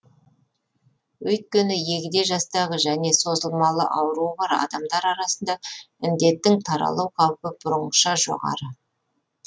өйткені егде жастағы және созылмалы ауруы бар адамдар арасында індеттің таралу қаупі бұрынғыша жоғары